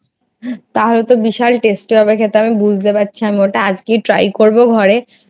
তাহলে তো বিশাল হবে খেতে আমি বুঝতে পারছি ওটা আমি ওটা আজকেই Try করবো ঘরে।